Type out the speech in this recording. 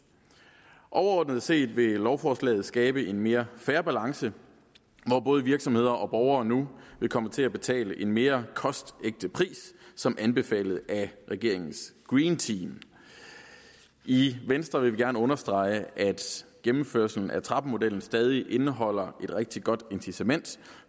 overordnet set vil lovforslaget skabe en mere fair balance hvor både virksomheder og borgere nu vil komme til at betale en mere kostægte pris som anbefalet af regeringens green team i venstre vil vi gerne understrege at gennemførelsen af trappemodellen stadig indeholder et rigtig godt incitament